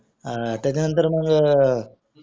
अं नंतर मग